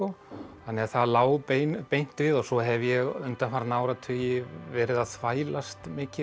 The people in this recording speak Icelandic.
þannig að það lá beint beint við og svo hef ég undanfarna áratugi verið að þvælast mikið